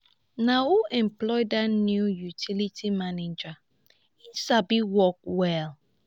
na who employ dat new utility manager? he sabi work well.